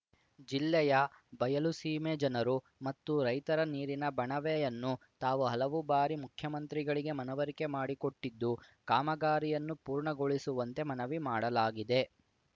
ಜಿಲ್ಲೆಯ ಬಯಲುಸೀಮೆ ಜನರು ಮತ್ತು ರೈತರ ನೀರಿನ ಬಣವೆಯನ್ನು ತಾವು ಹಲವಾರು ಬಾರಿ ಮುಖ್ಯಮಂತ್ರಿಗಳಿಗೆ ಮನವರಿಕೆ ಮಾಡಿಕೊಟ್ಟಿದ್ದು ಕಾಮಗಾರಿಯನ್ನು ಪೂರ್ಣಗೊಳಿಸುವಂತೆ ಮನವಿ ಮಾಡಲಾಗಿದೆ